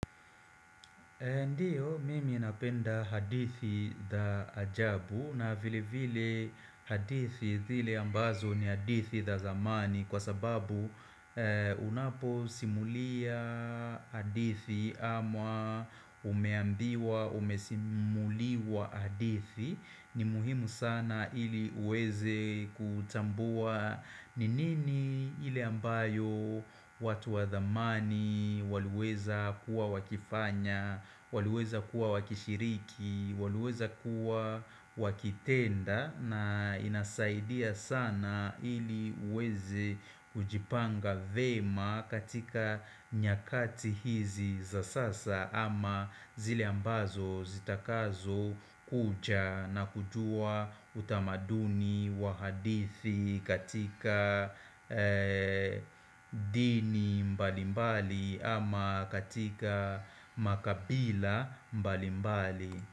Ndiyo, mimi napenda hadithi da ajabu na vile vile hadithi dhile ambazo ni hadithi da zamani kwa sababu unapo simulia hadithi ama umeambiwa, umesimuliwa hadithi ni muhimu sana ili uweze kutambua Ninini ili ambayo watu wathamani Waluweza kuwa wakifanya Waluweza kuwa wakishiriki Waluweza kuwa wakitenda na inasaidia sana ili uweze kujipanga vema katika nyakati hizi za sasa ama zile ambazo zitakazo kuja na kujua utamaduni wa hadithi katika dini mbalimbali ama katika makabila mbalimbali.